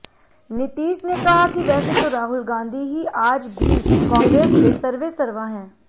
नीतीश ने कहा कि वैसे तो राहुल गांधी ही आज भी कांग्रेस के सर्वेसर्वा हैं